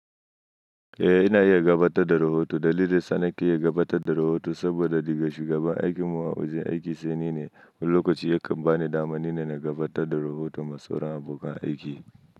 Eh ina iya gabatar da rahoto dalilin sa ni ke iya gabatar da rahoto saboda ni ga shugaban aikimu a wajen aiki sai ni ne. Wani lokaci yakan bani damani na gabatar da rahoton masoran abokan aiki.